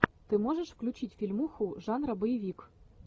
ты можешь включить фильмуху жанра боевик